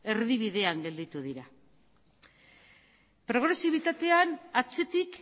erdibidean gelditu dira progresibitatean atzetik